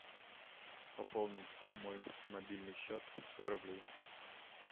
пополнить мой мобильный счет сто рублей